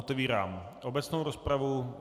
Otevírám obecnou rozpravu.